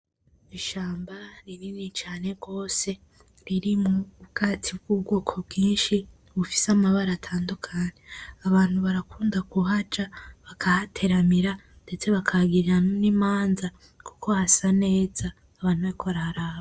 Ishamba rinini cane gose ririmwo ubwatsi bw’ubwoko bwishi bufise amabara atandukanye abantu barakunda kuhaca bakahateramira bakahagirira n’imanza kuko hasa neza abantu bariko haraharaba.